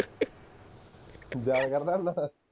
ਕਰਦਾ ਹੁੰਨਾ